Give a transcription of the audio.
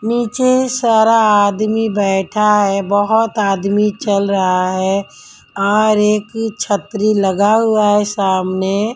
नीचे सारा आदमी बैठा है बहुत आदमी चल रहा है और एक छतरी लगा हुआ हैसामने--